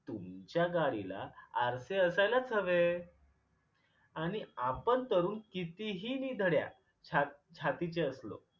तुमच्या गाडीला आरसे असायलाच हवे आणि आपण तरुण कितीही निधड्या छा छातीचे असलो